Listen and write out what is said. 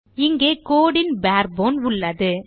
இங்கே code ன் பேர் போன் உள்ளது